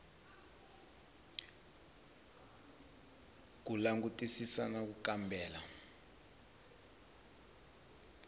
ku langutisisa na ku kambela